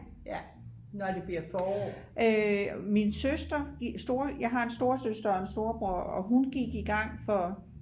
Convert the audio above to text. min søster min storesøster jeg har en storesøster og en storebror og hun gik i gang for